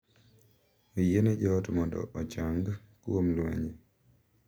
Oyiene joot mondo ochang’ kuom lwenje